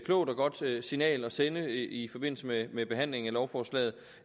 klogt og godt signal at sende i forbindelse med med behandlingen af lovforslaget